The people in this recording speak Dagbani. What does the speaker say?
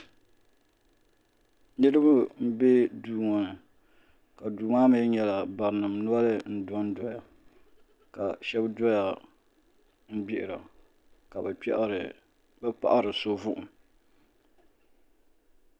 Niriba m be duuŋɔ ni ka duu maa mee nyɛla barinima noli n dondoya sheba doya gbihira ka bɛ pahari so vuhum.